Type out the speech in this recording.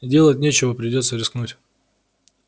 делать нечего придётся рискнуть